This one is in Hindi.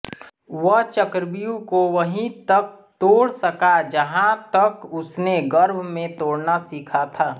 वह चक्रव्यूह को वहीं तक तोड़ सका जहाँ तक उसने गर्भ में तोड़ना सीखा था